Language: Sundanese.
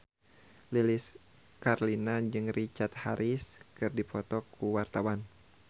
Lilis Karlina jeung Richard Harris keur dipoto ku wartawan